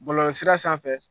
Bulɔlɔsira sanfɛ